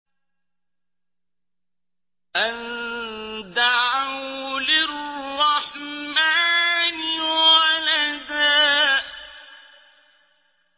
أَن دَعَوْا لِلرَّحْمَٰنِ وَلَدًا